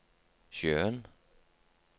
sjøen